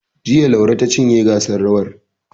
Jiya, Laure ta cinye gasar rawar.